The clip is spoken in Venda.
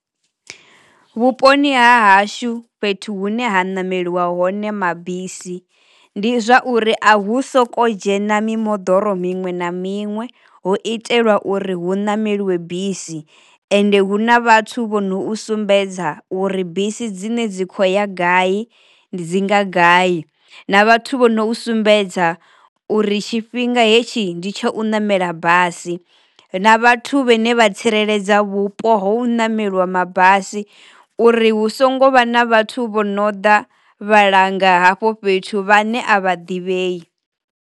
Vhuponi ha hashu fhethu hune ha nameliwa hone mabisi ndi zwa uri a hu soko dzhena mimoḓoro miṅwe na miṅwe, ho itelwa uri hu nameliwa bisi ende hu na vhathu vho no sumbedza uri bisi dzine dzi kho ya gai ndi dzi nga gai na vhathu vho no sumbedza uri tshifhinga hetshi ndi tsha u namela basi, na vhathu vhane vha tsireledza vhupo ho u ṋameliwa mabasi uri hu songo vha na vhathu vho no ḓa vhalanga hafho fhethu vhane a vha ḓivhei.